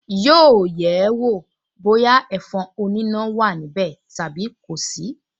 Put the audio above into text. Yóò yẹ̀ ẹ́ wọ̀ bóyá ẹ̀fọn oníná wà níbẹ̀ tàbí kò sí